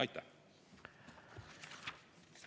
Aitäh!